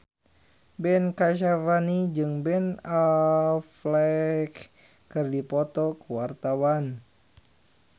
Ben Kasyafani jeung Ben Affleck keur dipoto ku wartawan